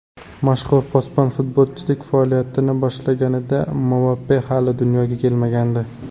Mashhur posbon futbolchilik faoliyatini boshlaganida Mbappe hali dunyoga kelmagandi.